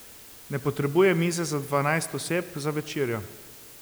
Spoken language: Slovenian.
Ne potrebujem mize za dvanajst oseb za večerjo.